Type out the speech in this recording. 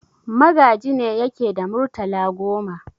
Magaji ne yake da murtala goma.